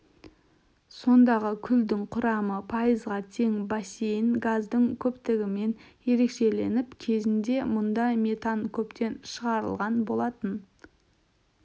сондағы күлдің құрамы пайызға тең бассейн газдың көптігімен ерекшеленіп кезінде мұнда метан көптеп шығарылған болатын